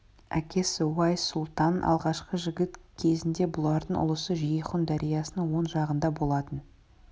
әкесі уайс сұлтанның алғашқы жігіт кезінде бұлардың ұлысы жейхун дариясының оң жағында болатын